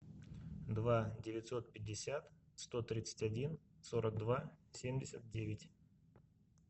два девятьсот пятьдесят сто тридцать один сорок два семьдесят девять